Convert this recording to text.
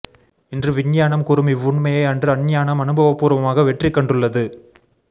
இன்று விஞ்ஞானம் கூறும் இவ்வுண்மையை அன்று அஞ்ஞானம் அனுபவபூர்வமாக வெற்றிக் கண்டுள்ளது